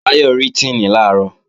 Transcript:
Báyọ̀ rí Tíìnì làárọ̀